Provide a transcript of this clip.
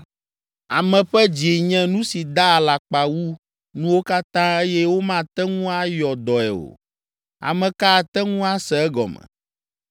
Ame ƒe dzi nye nu si daa alakpa wu nuwo katã eye womate ŋu ayɔ dɔe o. Ame ka ate ŋu ase egɔme?